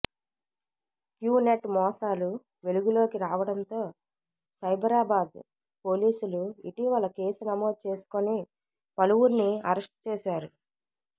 queue net మోసాలు వెలుగులోకి రావడంతో సైబరాబాద్ పోలీసులు ఇటీవల కేసు నమోదు చేసుకొని పలువురిని అరెస్ట్ చేశారు